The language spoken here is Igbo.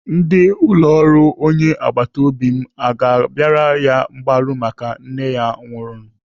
Ndị ụlọ ọrụ onye agbataobi m aga abịara ya mgbaru maka nne ya nwụrụ?